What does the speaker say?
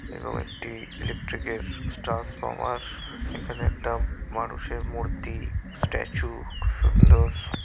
এবং একটি ইলেকট্রিক -এর স্ট্রার্ন্সফর্মার এখানে একটা মানুষের মূর্তি স্ট্যাচু সুন্দর--